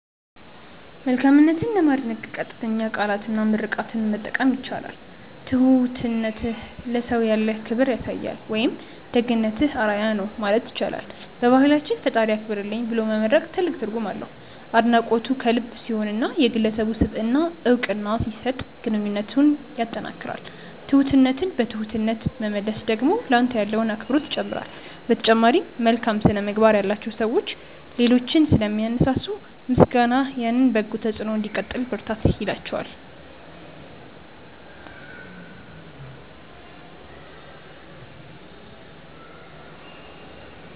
መልካምነትን ለማድነቅ ቀጥተኛ ቃላትና ምርቃትን መጠቀም ይቻላል። "ትሁትነትህ ለሰው ያለህን ክብር ያሳያል" ወይም "ደግነትህ አርአያ ነው" ማለት ይቻላል። በባህላችን "ፈጣሪ ያክብርልኝ" ብሎ መመርቅ ትልቅ ትርጉም አለው። አድናቆቱ ከልብ ሲሆንና የግለሰቡን ስብዕና እውቅና ሲሰጥ ግንኙነትን ያጠናክራል። ትሁትነትን በትሁትነት መመለስ ደግሞ ለአንተ ያለውን አክብሮት ይጨምራል። በተጨማሪም፣ መልካም ስነ-ምግባር ያላቸው ሰዎች ሌሎችን ስለሚያነሳሱ፣ ምስጋናህ ያንን በጎ ተጽዕኖ እንዲቀጥሉ ብርታት ይላቸዋል።